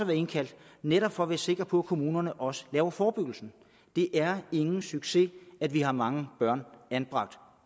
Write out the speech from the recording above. indkaldt netop for at være sikker på at kommunerne også laver forebyggelse det er ingen succes at vi har mange børn anbragt